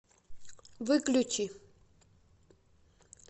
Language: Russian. выключи